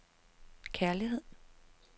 kærlighed